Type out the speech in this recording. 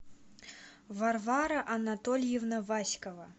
варвара анатольевна васькова